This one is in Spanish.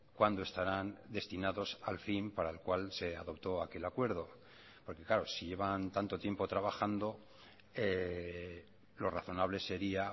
cuándo estarán destinados al fin para el cual se adoptó aquel acuerdo porque claro si llevan tanto tiempo trabajando lo razonable sería